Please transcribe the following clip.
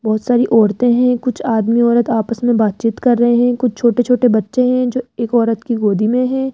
बहुत सारी औरतें हैं कुछ आदमी औरत आपस में बातचीत कर रहे हैं कुछ छोटे छोटे बच्चे हैं जो एक औरत की गोदी में हैं।